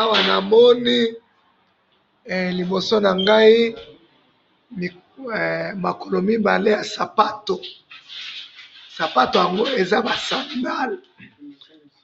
awanamoni libosonangayi makolo mibale yasapato sapatoyangoyo